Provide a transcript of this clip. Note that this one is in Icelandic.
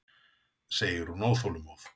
segir hún óþolinmóð.